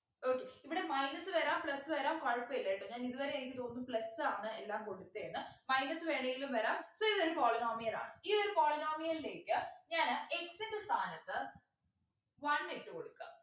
okay ഇവിടെ minus വരാം plus വരാം കുഴപ്പമില്ല ട്ടോ ഞാൻ ഇതുവരെ എനിക്ക് തോന്നുന്നു plus ആണ് എല്ലാം കൊടുത്തേ ന്ന് minus വേണെങ്കിലും വരാം so ഇതൊരു polynomial ആണ് ഈ ഒരു polynomial ലേക്ക് ഞാന് x ൻ്റെ സ്ഥാനത്ത് one ഇട്ടു കൊടുക്ക